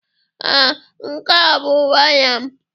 Ee, nke a bụ waya m.